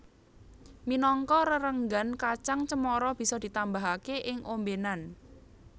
Minangka rerenggan kacang cemara bisa ditambahake ing ombenan